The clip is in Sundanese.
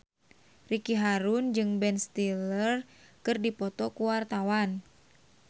Ricky Harun jeung Ben Stiller keur dipoto ku wartawan